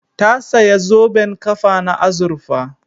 Ta saya zoben ƙafa na azurfa